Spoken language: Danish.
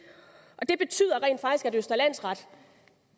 det betyder rent faktisk at østre landsret